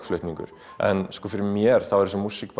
flutningur en fyrir mér er þessi músík